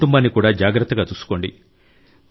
మీ కుటుంబాన్ని కూడా జాగ్రత్తగా చూసుకోండి